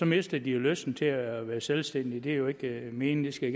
mister de jo lysten til at være selvstændige det er jo ikke meningen det skal